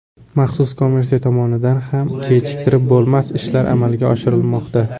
Maxsus komissiya tomonidan ham kechiktirib bo‘lmas ishlar amalga oshirilmoqda.